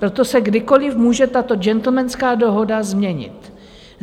Proto se kdykoliv může tato džentlmenská dohoda změnit.